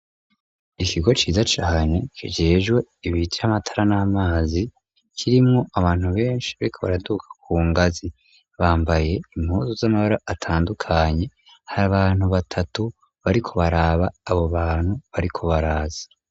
Ikigo ciza cane kijejwe ibitari amatara n'amazi kirimwo abantu benshi bariko baraduga ku ngazi bambaye impuzu z'amabara atandukanye hari abantu batatu bariko baraba abo bantu bariko baraza.